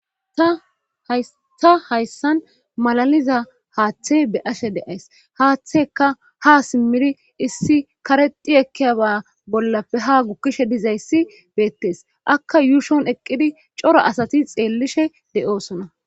ta hayssan malaliza haaththe be ashe deays haaththeka ha simmiri issi karexi ekkiyaba bollappe ha gukkishe dizayssi beettes akka yuushon eqqidi coro asati xeellishe de7osona